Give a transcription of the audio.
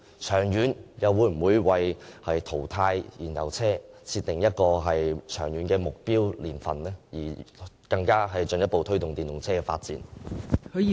長遠來說，當局會否以淘汰燃油車為目標，並訂定目標年份，以進一步推動電動車的發展？